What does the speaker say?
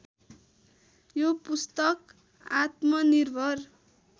यो पुस्तक आत्मनिर्भर